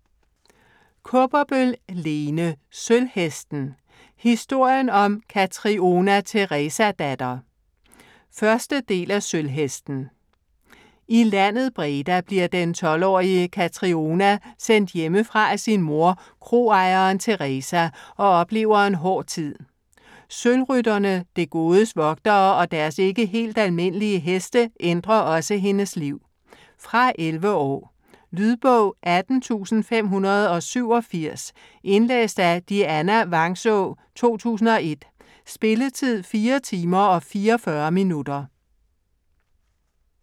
Kaaberbøl, Lene: Sølvhesten: historien om Katriona Teresadatter 1. del af Sølvhesten. I landet Breda bliver den 12-årige Katriona sendt hjemmefra af sin mor, kroejeren Teresa, og oplever en hård tid. Sølvrytterne, det godes vogtere, og deres ikke helt almindelige heste ændrer også hendes liv. Fra 11 år. Lydbog 18587 Indlæst af Dianna Vangsaa, 2001. Spilletid: 4 timer, 44 minutter.